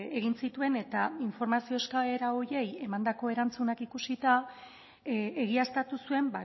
egin zituen eta informazio eskaera horiei emandako erantzunak ikusita egiaztatu zuen